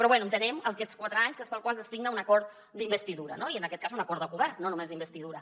però bé entenem aquests quatre anys que és pel qual es signa un acord d’investidura i en aquest cas un acord de govern no només d’investidura